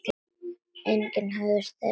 Engi höfðust þeir orð við.